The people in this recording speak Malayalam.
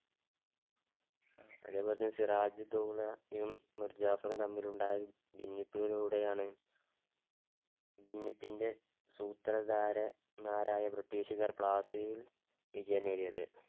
അതേപോലെ സിറാജ് ഉദ് ദൗളയും മിർ ജഫാറും തമ്മിലുണ്ടായ ഭിന്നിപ്പിലൂടെയാണ്, ഭിന്നിപ്പിൻടെ സൂത്രധാരൻമാരായ ബ്രിട്ടീഷ്ക്കാർ പ്ലാസിയിൽ വിജയം നേടിയത്.